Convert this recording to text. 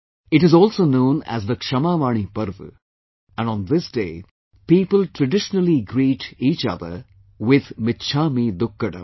It is also known as the KshamavaniParva, and on this day, people traditionally greet each other with, 'michhamidukkadam